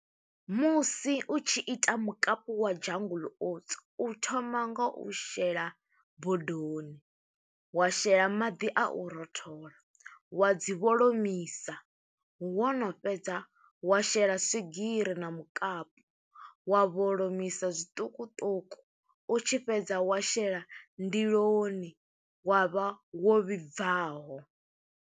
Musi u tshi ita mukapu wa Jungle Oats. U thoma nga u shela bodoni, wa shela maḓi a u rothola wa dzi vholomisa, wo no fhedza wa shela swigiri na mukapu, wa vholomisa zwiṱukuṱuku. U tshi fhedza wa shela ndiloni, wa vha wo vhibvaho.